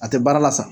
A tɛ baara la sa